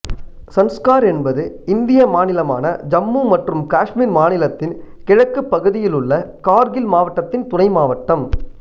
சன்ஸ்கார் என்பது இந்திய மாநிலமான ஜம்மு மற்றும் காஷ்மீர் மாநிலத்தின் கிழக்குப் பகுதியிலுள்ள கார்கில் மாவட்டத்தின் துணைமாவட்டம்